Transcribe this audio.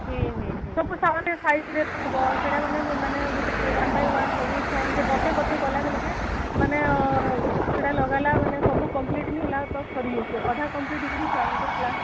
ସବୁ size ରେ ହବ ସେଇଟା ଆମେ ଗୋଟେ one ବି one ସବୁ ଛୁଆ ମାନଙ୍କେ ବତେଇ ବତେଇ କଲା ବେଳକେ ମାନେ ଆଁ ସେଇଟା ଲଗାଲେ ମାନେ ସବୁ complete ନ ହେଲା ତ ସରି ଯାଉଛି ଅଧା complete ହେଇକରି ଛୁଆ ମାନଙ୍କ class